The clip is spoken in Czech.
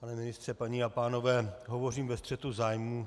Pane ministře, dámy a pánové, hovořím ve střetu zájmů.